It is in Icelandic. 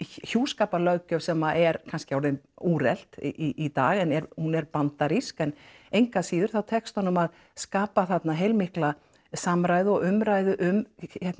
hjúskaparlöggjöf sem er kannski orðin úrelt í dag en er hún er bandarísk en engu að síður þá tekst honum að skapa þarna heilmikla samræðu og umræðu um